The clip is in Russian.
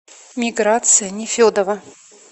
миграция нефедова